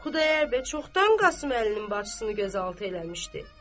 Xudayar bəy çoxdan Qasım Əlinin bacısını gözaltı eləmişdi.